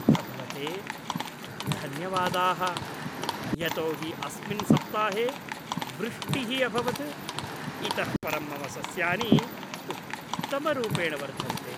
भगवते धन्यवादाः । यतो हि अस्मिन् सप्ताहे वृष्टिः अभवत्। इतःपरं मम सस्यानि उत्तमरूपेण वर्धन्ते।